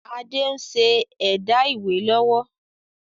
Adé ń ṣe ẹ̀dá ìwé lọ́wọ́